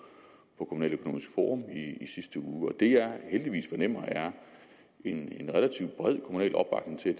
kommunaløkonomisk forum i sidste uge og det jeg heldigvis fornemmer er en relativt bred kommunal opbakning til